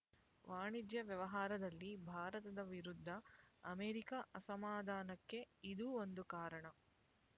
ವಾಣಿಜ್ಯ ವ್ಯವಹಾರದಲ್ಲಿ ಭಾರತದ ವಿರುದ್ಧ ಅಮೆರಿಕ ಅಸಮಾಧಾನಕ್ಕೆ ಇದೂ ಒಂದು ಕಾರಣ